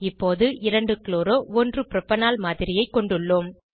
இப்போது 2 chloro 1 propanol மாதிரியைக் கொண்டுள்ளோம்